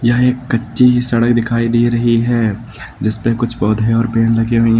यहां एक कच्ची सी सड़क दिखाई दे रही है जिस पे कुछ पौधे और पेड़ लगे हुए हैं।